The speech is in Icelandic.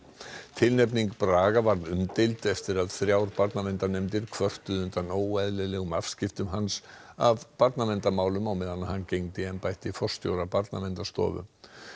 tilnefning Braga varð umdeild eftir að þrjár barnaverndarnefndir kvörtuðu undan óeðlilegum afskiptum hans af barnaverndarmálum á meðan hann gegndi embætti forstjóra Barnaverndarstofu